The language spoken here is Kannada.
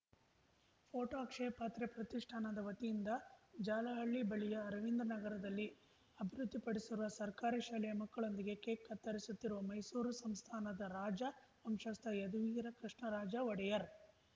ಫೋಟೋ ಅಕ್ಷಯ ಪಾತ್ರೆ ಪ್ರತಿಷ್ಠಾನದ ವತಿಯಿಂದ ಜಾಲಹಳ್ಳಿ ಬಳಿಯ ಅರವಿಂದನಗರದಲ್ಲಿ ಅಭಿವೃದ್ಧಿಪಡಿಸಿರುವ ಸರ್ಕಾರಿ ಶಾಲೆಯ ಮಕ್ಕಳೊಂದಿಗೆ ಕೇಕ್‌ ಕತ್ತರಿಸುತ್ತಿರುವ ಮೈಸೂರು ಸಂಸ್ಥಾನದ ರಾಜ ವಂಶಸ್ಥ ಯದುವೀರ ಕೃಷ್ಣರಾಜ ಒಡೆಯರ್